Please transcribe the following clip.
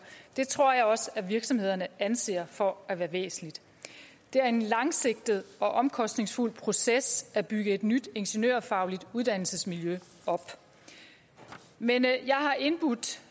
det tror jeg også virksomhederne anser for at være væsentligt det er en langsigtet og omkostningsfuld proces at bygge et nyt ingeniørfagligt uddannelsesmiljø op men jeg har indbudt